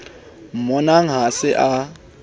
mmonang ha a se a